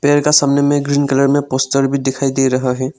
पेर का सामने में ग्रीन कलर में पोस्टर भी दिखाई दे रहा है।